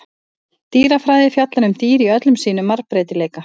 Dýrafræði fjallar um dýr í öllum sínum margbreytileika.